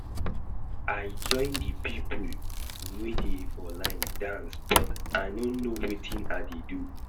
I join the people wey dey for line dance but I no know wetin I dey do